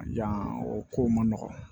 Yan o kow man nɔgɔn